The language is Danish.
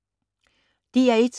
DR1